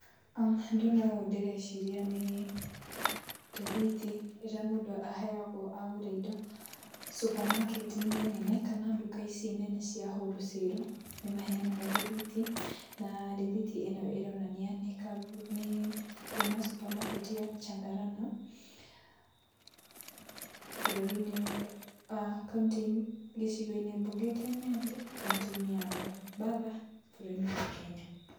um Ndona ũũ ndĩreciria nĩ rĩthiti ĩrĩa mũndũ aheagwo agũra indo supermarket -inĩ nene kana duka ici nene cia wholesale, nĩmaheanaga rĩthiti, na rĩthiti ĩno yonania nĩ kuma supermarket ya Chandarana bũrũri-inĩ aah kaũntĩ-inĩ, gĩcigo-inĩ mbunge kĩa Nyali, kauntĩ-inĩ ya Mombatha, bũrũri-inĩ wa Kenya.